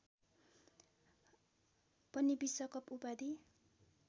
पनि विश्वकप उपाधि